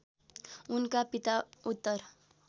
उनका पिता उत्तर